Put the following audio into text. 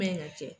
Man ɲi ka kɛ